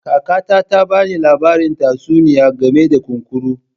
Kakata ta ba ni labarin tatsuniya game da kunkuru.